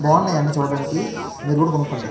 బావున్నాయి అన్ని చూడడానికి మీరు కూడ కొనుక్కోండి.